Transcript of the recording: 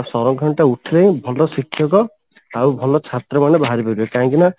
ଆଉ ସଂରକ୍ଷଣ ଟା ଉଠିଲେ ହିଁ ଭଲ ଶିକ୍ଷକ ଆଉ ଭଲ ଛାତ୍ର ମାନେ ବାହାରିପାରିବେ କାହିଁକିନା